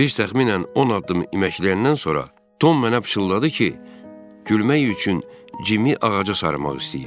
Biz təxminən 10 addım iməkləyəndən sonra Tom mənə pıçıldadı ki, gülmək üçün Cimi ağaca sarmaq istəyir.